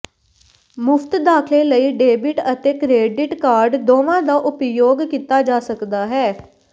ਮੁਫਤ ਦਾਖਲੇ ਲਈ ਡੈਬਿਟ ਅਤੇ ਕ੍ਰੈਡਿਟ ਕਾਰਡ ਦੋਵਾਂ ਦਾ ਉਪਯੋਗ ਕੀਤਾ ਜਾ ਸਕਦਾ ਹੈ